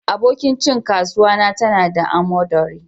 Abokin cin kasuwa na ta na da amodari.